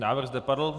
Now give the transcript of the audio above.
Návrh zde padl.